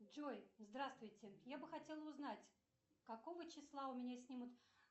джой здравствуйте я бы хотела узнать какого числа у меня снимут